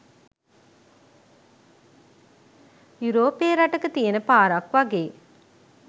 යුරෝපේ රටක තියෙන පාරක් වගේ.